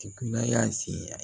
y'a se